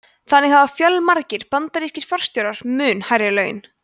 þannig hafa fjölmargir bandarískir forstjórar mun hærri laun